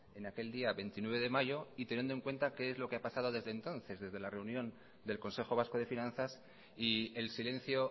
en aquel día veintinueve de mayo y teniendo en cuenta que es lo que ha pasado desde entonces desde la reunión del consejo vasco de finanzas y el silencio